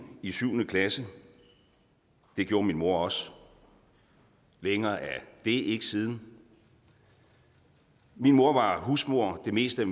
i syvende klasse det gjorde min mor også længere er det ikke siden min mor var husmor det meste